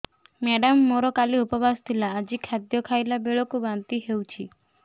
madam ମୋର କାଲି ଉପବାସ ଥିଲା ଆଜି ଖାଦ୍ୟ ଖାଇଲା ବେଳକୁ ବାନ୍ତି ହେଊଛି